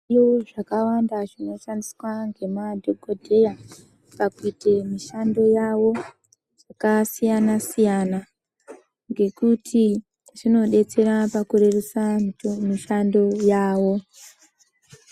Yuwi zvakawanda zvinoshandiswa nemadhokodheya pakuite mishando yavo zvakasiyana siyana ngekuti zvinodetsera pakurerusa mishando yawo.